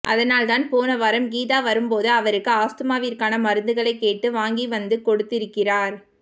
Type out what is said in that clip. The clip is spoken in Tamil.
அதனால்தான் போனவாரம் கீதா வரும்போது அவருக்கு ஆஸ்துமாவிற்கான மருந்துகளை கேட்டு வாங்கிவந்து கொடுத்திருக்கிறார்